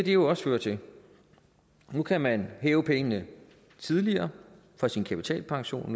jo også føre til nu kan man hæve pengene tidligere fra sin kapitalpension